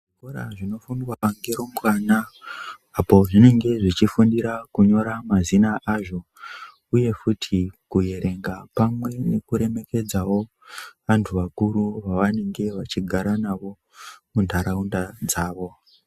Kora zvinofundwa ngerumbwana apo zvinenge zvechifundira kunyora mazina azvo uye futi kuerenga pamwe nekuremekedzawo vantu vakuru vaanenge vachigara navo muntaraunta dzawo.